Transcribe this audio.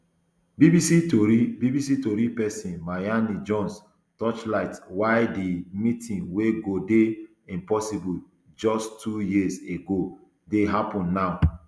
bbc tori bbc tori pesin mayeni jones torchlight why di meeting wey go dey impossible just two years ago dey happun now